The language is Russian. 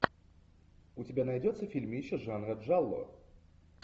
у тебя найдется фильмище жанра джалло